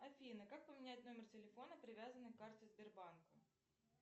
афина как поменять номер телефона привязанный к карте сбербанка